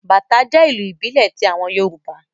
Bàtá jẹ́ ìlù ìbílẹ̀ ti àwọn Yorùbá